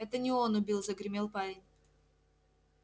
это не он убил загремел парень